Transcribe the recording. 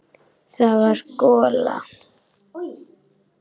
Það var gola.